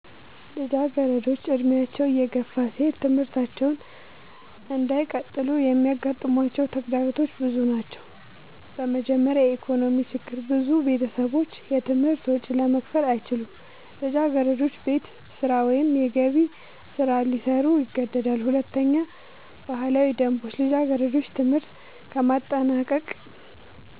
ልጃገረዶች ዕድሜያቸው እየገፋ ሲሄድ ትምህርታቸውን እንዳይቀጥሉ የሚያጋጥሟቸው ተግዳሮቶች ብዙ ናቸው። በመጀመሪያ የኢኮኖሚ ችግር ብዙ ቤተሰቦች የትምህርት ወጪ ለመክፈል አይችሉም። ልጃገረዶች ቤት ስራ ወይም የገቢ ስራ ሊሰሩ ይገደዳሉ። ሁለተኛ ባህላዊ ደንቦች ልጃገረዶች ትምህርት ከማጠናቀቅ